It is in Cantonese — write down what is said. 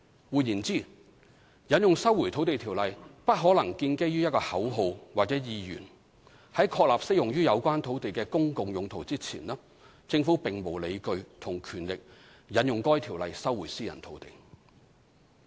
換言之，引用《收回土地條例》不可能建基於一個口號或意願；在確立適用於有關土地的"公共用途"之前，政府並無理據及權力引用該條例收回私人土地。